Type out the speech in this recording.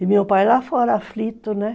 E meu pai lá fora aflito, né?